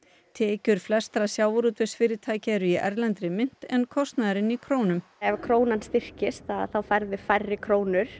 tekjur flestra sjávarútvegsfyrirtækja eru í erlendri mynt en kostnaðurinn í krónum ef krónan styrkist færðu færri krónur